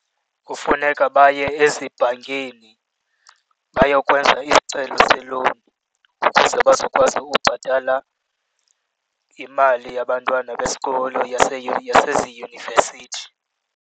Kufuneka baye ezibhankini bayokwenza isicelo se-loan ukuze bazokwazi ubhatala imali yabantwana besikolo yaseziyunivesithi.